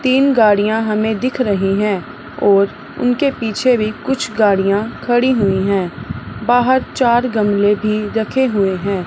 तीन गाड़ियां हमें दिख रही हैं ओर उनके पीछे भी कुछ गाड़ियां खड़ी हुईं हैं बाहर चार गमले भी रखे हुएं हैं।